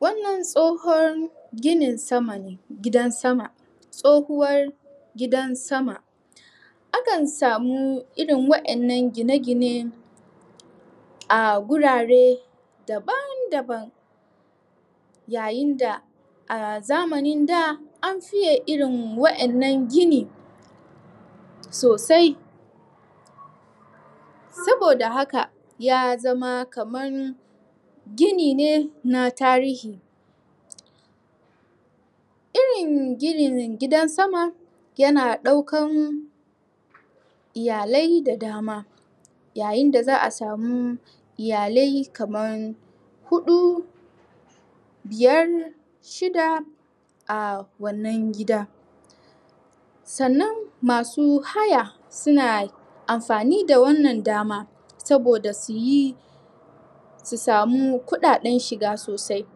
wannan tsohon ginin sama gidan sama tsohuwar gidan sama akan samu irin wa'innan gina gine a gurare daban daban yayin da a zamanin da an fiye irin wa'innan gini sosai saboda haka ya zama kaman gini ne na tarihi irin ginin gidan sama yana daukan iyalai da dama yayin da za'a samu iyalai kaman huɗu biyar shida a wannan gida sannan masu haya suna amfani da wannan dama saboda suyi su samu kuɗaɗen shiga sosai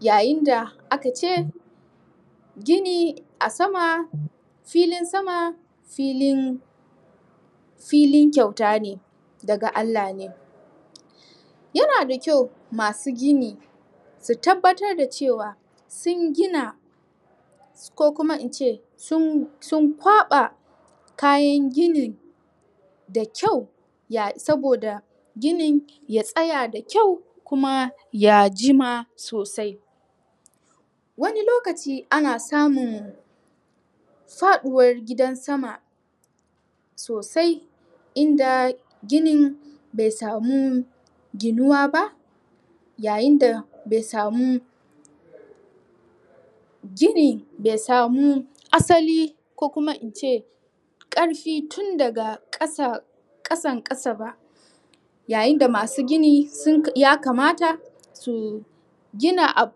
yayin da aka ce gini a sama filin sama filin filin kyauta ne daga Allah ne yana da kyau masu gini su tabbatar da cewa sun gina ko kuma ince sun sun kwaɓa kayan gini da kyau ya saboda ginin ya tsaya da kyau kuma ya jima sosai wani lokaci ana samun faɗuwar gidan sama sosai inda ginin bai samu ginuwa ba yayin da bai samu gini bai samu asali ko kuma ince ƙarfi tun daga ƙasa ƙasan ƙasa ba yayin da masu gini sun yakamata toh gina abu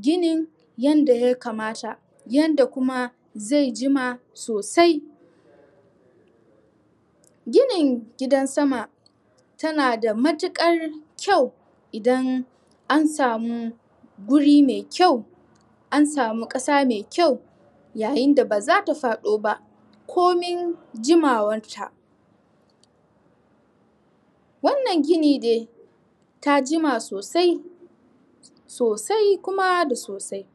gini yanda yakamata yanda kuma zai jima sosai ginin gidan sama yana da matuƙar kyau idan an samu guri mai kyau an samu ƙasa mai kyau yayin da bazata fado ba komin jimawan ta wannan gini dai ta jima sosai sosai kuma da sosai